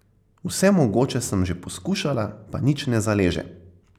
Vse mogoče sem že poskušala, pa nič ne zaleže.